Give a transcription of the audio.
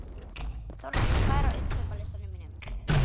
Þórhanna, hvað er á innkaupalistanum mínum?